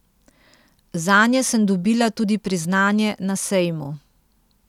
Zanje sem dobila tudi priznanje na sejmu.